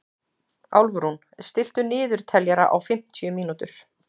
Álfrún, stilltu niðurteljara á fimmtíu mínútur.